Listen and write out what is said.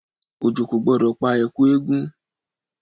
Òjò kò gbọ́dọ̀ pa èkú eégún.